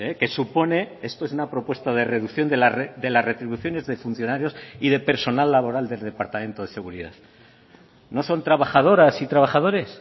que supone esto es una propuesta de reducción de las retribuciones de funcionarios y de personal laboral del departamento de seguridad no son trabajadoras y trabajadores